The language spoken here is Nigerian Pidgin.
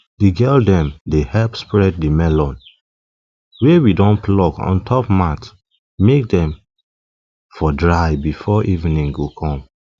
di girl dem dey help spread di melon wey we don pluck on top mat make dem for dry before evening go come